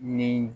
Ni